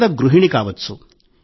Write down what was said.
లేదా గృహిణి కావచ్చు